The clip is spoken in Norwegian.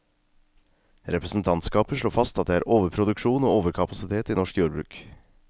Representantskapet slår fast at det er overproduksjon og overkapasitet i norsk jordbruk.